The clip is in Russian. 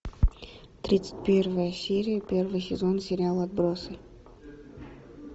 тридцать первая серия первый сезон сериал отбросы